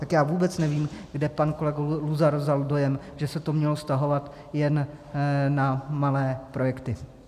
Tak já vůbec nevím, kde pan kolega Luzar vzal dojem, že se to mělo vztahovat jen na malé projekty.